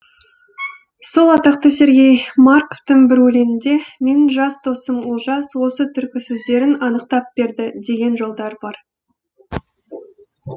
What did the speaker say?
сол атақты сергей марковтың бір өлеңінде менің жас досым олжас осы түркі сөздерін анықтап берді деген жолдар бар